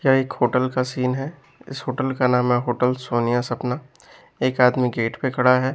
यह एक होटल का सीन है इस होटल का नाम होटल सोनिया सपना एक आदमी गेट पे खड़ा है।